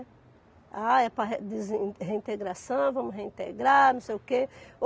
Ah, é para re desin reintegração, vamos reintegrar, não sei o quê.